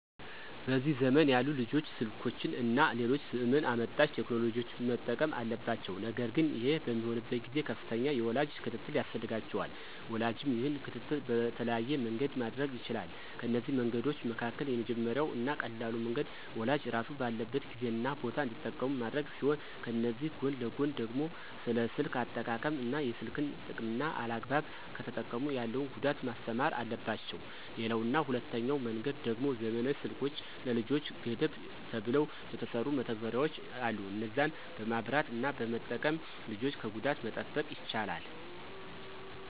በዚህ ዘመን ያሉ ልጆች ስልኮችን እና ሌሎች ዘመን አመጣሽ ቴክኖሎጂዎችን መጠቀም አለባቸው ነገር ግን ይህ በሚሆንበት ጊዜ ከፍተኛ የወላጅ ክትትል ያስፈልጋቸዋል። ወላጅም ይህንን ክትትል በተለያየ መንገድ ማድረግ ይችላል፤ ከነዚህ መንገዶች መካከል የመጀመሪያው እና ቀላሉ መንገድ ወላጅ ራሱ ባለበት ጊዜ እና ቦታ እንዲጠቀሙ ማድረግ ሲሆን ከዚህ ጎን ለጎን ደግሞ ስለ ስልክ አጠቃቀም እና የስልክን ጥቅምና አላግባብ ከተጠቀሙ ያለውን ጉዳት ማስተማር አለባቸው። ሌላው እና ሁለተኛው መንገድ ደሞ ዘመናዊ ስልኮች ለልጆች ገደብ ተብለው የተሰሩ መተግበሪያዎች አሉ እነዛን በማብራት እና በመጠቀም ልጆችን ከጉዳት መጠበቅ ይቻላል።